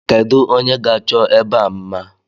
Kedu onye ga-achọ ebe a mma?